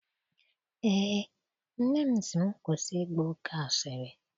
Eé, nne m sị m kwụsị ịgba oke asịrị